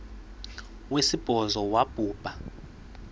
wesibhozo wabhu bha